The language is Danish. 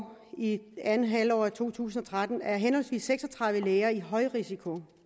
andet halvår af to tusind og tretten så er henholdsvis seks og tredive læger i høj risiko